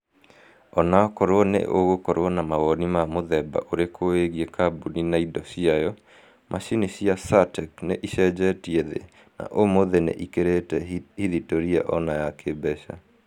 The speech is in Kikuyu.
ona okorwo na ũgũkorwo na mawoni ma mũthemba ũrĩkũwĩgiĩ kambuni na indo ciayo, macini cia saartec nĩ ĩcenjetie thi- na ũmũthĩ ni ĩkĩrĩte hithitoria ona ya kimbeca